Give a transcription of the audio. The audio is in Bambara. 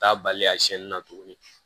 Taa bali a siɲɛni na tuguni